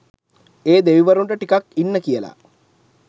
ඒ දෙවිවරුන්ට ටිකක් ඉන්න කියලා